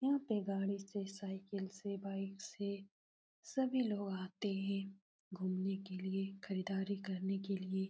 यहाँ पे गाड़ी से साइकिल से बाइक से सभी लोग आते हैं। घुमने के लिए खरीदारी करने के लिए --